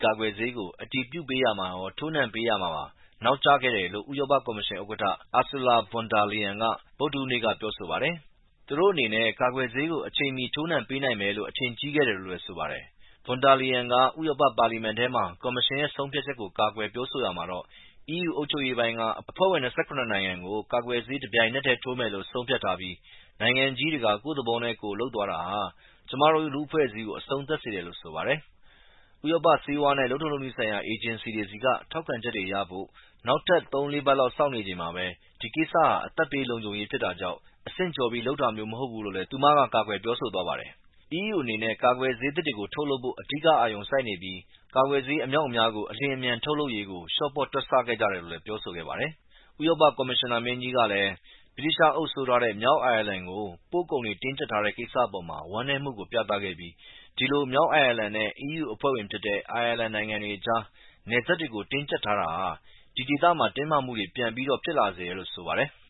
ကာကွယ်ဆေးတွေကို အတည်ပြုပေးရာမှာရော ထိုးနှံပေးရာမှာပါ နောက်ကျခဲ့တယ်လို့ဥရောပကော်မရှင် ဥက္ကဋ္ဌ Ursula Von der Leyen က ဗုဒ္ဓဟူးနေ့မှာ ပြောဆိုပါတယ်။ သူတို့အနေနဲ့ကာကွယ်ဆေးတွေကို အချိန်မီ ထိုးနှံပေးနိုင်မယ်လို့ အထင်ကြီးခဲ့တယ်လို့ဆိုပါတယ်။ Von der Leyen က ဥရောပ ပါလီမန်ထဲမှာ ကော်မရှင်ရဲ့ ဆုံးဖြတ်ချက်ကို ကာကွယ်ပြောဆိုရမှာတော့ EU အုပ်ချုပ်ရေးပိုင်းက အဖွဲ့ဝင် ၂၇ နိုင်ငံကို ကာကွယ်ဆေး တပြိုင်နက်ထဲ ထိုးမယ်လို့ဆုံးဖြတ်ထားပြီး နိုင်ငံကြီးတွေက ကိုယ့်သဘောနဲ့ကိုယ်လုပ်သွားတာဟာ ကျမတို့လူ့အဖွဲ့အစည်းကို အဆုံးသတ်စေတယ်လို့ဆိုပါတယ်။ ဥရောပ ဆေးဝါးနဲ့လုပ်ထုံးလုပ်နည်းဆိုင်ရာ အေဂျင်စီတွေဆီက ထောက်ခံချက်ရဖို့နောက်ထပ် သုံးလေးပတ်လောက် စောင့်နေချိန်မှာ ဒီကိစ္စဟာ အသက်ဘေးလုံခြုံရေးဖြစ်တာကြောင့် အဆင့်ကျော်ပြီးလုပ်တာမျိုးမဟုတ်ဘူးလို့လည်း သူမ က ကာကွယ်ပြောဆိုသွားပါတယ်။ EU အနေနဲ့ ကာကွယ်ဆေးသစ်တွေထုတ်လုပ်ဖို့အဓိကအာရုံစိုက်နေပြီး ကာကွယ်ဆေး အမြောက်အမြားကို အလျင်အမြန်ထုတ်လုပ်ရေး လျော့ပေါ့တွက်ဆခဲ့ကြတယ်လို့လည်း ပြောဆိုခဲ့ပါတယ်။ ဥရောပကော်မရှင်နာမင်းကြီးကလည်း ဗြိတိသျှအုပ်စိုးထားတဲ့ မြောက်အိုင်ယာလန်ကို ပို့ကုန်တွေ တင်းကြပ်ထားတဲ့ ကိစ္စအပေါ် ဝမ်းနည်းမှုကို ပြသခဲ့ပြီး ဒီလို မြောက်အိုင်ယာလန်နဲ့EU အဖွဲ့ဝင်ဖြစ်တဲ့ အိုင်ယာလန်နိင်ငံအကြား နယ်စပ်တွေတင်းကြပ်ထားတာဟာ ဒီဒေသကို တင်းမာမှုတွေပြန်ပြီး ဖြစ်လာစေတယ်လို့ဆိုပါတယ်။